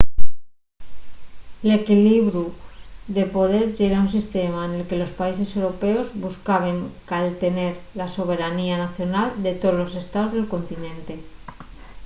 l’equlibiru de poder yera un sistema nel que los países europeos buscaben caltener la soberanía nacional de tolos estaos del continente